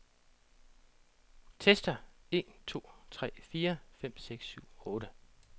Tester en to tre fire fem seks syv otte.